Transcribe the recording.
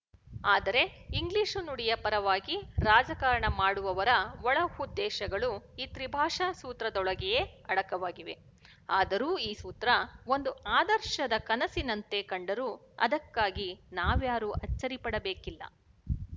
ಆದರೆ ಇಂಗ್ಲಿಶು ನುಡಿಯ ಪರವಾಗಿ ರಾಜಕಾರಣ ಮಾಡುವವರ ಒಳ ಉದ್ದೇಶಗಳು ಈ ತ್ರಿಭಾಷಾ ಸೂತ್ರದೊಳಗೆಯೇ ಅಡಕವಾಗಿವೆ ಆದರೂ ಈ ಸೂತ್ರ ಒಂದು ಆದರ್ಶದ ಕನಸಿನಂತೆ ಕಂಡರೂ ಅದಕ್ಕಾಗಿ ನಾವ್ಯಾರೂ ಅಚ್ಚರಿಪಡಬೇಕಿಲ್ಲ